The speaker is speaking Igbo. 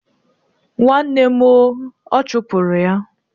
Nwanne m o! Ọ chọpụrụ ya.